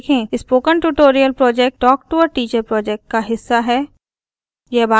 spoken tutorial project talk to a teacher project का हिस्सा है